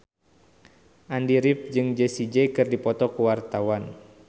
Andy rif jeung Jessie J keur dipoto ku wartawan